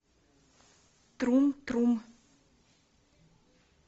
трум трум